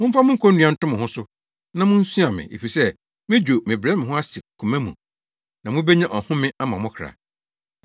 Momfa me konnua nto mo ho so, na munsua me, efisɛ midwo na mebrɛ me ho ase koma mu, na mubenya ɔhome ama mo kra.